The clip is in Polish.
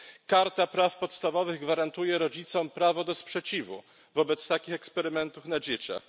Karta praw podstawowych gwarantuje rodzicom prawo do sprzeciwu wobec takich eksperymentów na dzieciach.